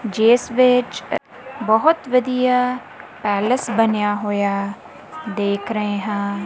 ਜਿਸ ਵਿੱਚ ਬਹੁਤ ਵਧੀਆ ਪੈਲਸ ਬਣਿਆ ਹੋਇਆ ਦੇਖ ਰਹੇ ਹਾਂ।